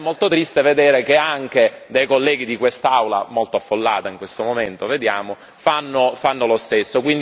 È molto triste vedere che anche dei colleghi di quest'Aula, molto affollata in questo momento, fanno lo stesso.